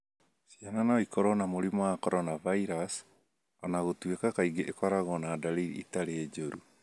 Ciana no ikorũo na mũrimũ wa coronavirus, o na gũtuĩka kaingĩ ikoragwo na ndariri itarĩ njoru.